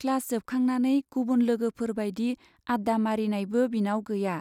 Class जोबखांनानै गुबुन लोगोफोर बाइदि आड्डा मारिनायबो बिनाव गैया।